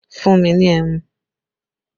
Fún mi ní ẹmu!